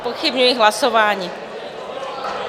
Zpochybňuji hlasování.